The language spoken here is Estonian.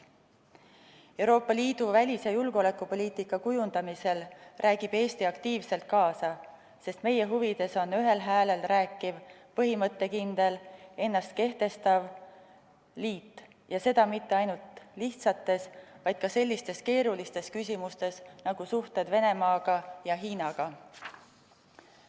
Euroopa Liidu välis- ja julgeolekupoliitika kujundamisel räägib Eesti aktiivselt kaasa, sest meie huvides on ühel häälel rääkiv, põhimõttekindel, ennast kehtestav liit, ja seda mitte ainult lihtsates, vaid ka sellistes keerulistes küsimustes nagu suhted Venemaa ja Hiinaga.